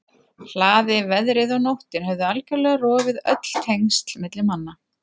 hlaði, veðrið og nóttin höfðu algjörlega rofið öll tengsl milli manna.